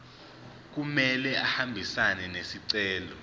kumele ahambisane nesicelo